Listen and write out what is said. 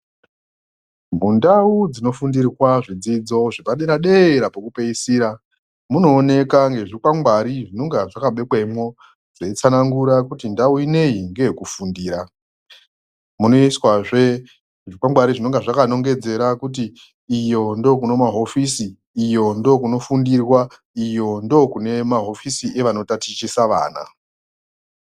Mundau dzinofundirwa zvidzidzo zvepadera-dera pekupeisira, munooneka ngezvikwangwari zvinonga zvakabekwemo zveitsanangura kuti ndau ineyi ngeyekufundira. Munoiswahe zvingwangwari zvinenge zvakanongedzera kuti iyo ndokune mahofisi iyo ndokunofundirwa iyo ndokune mahofisi evanotatichisa vana.